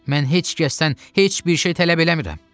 Mən heç kəsdən heç bir şey tələb eləmirəm.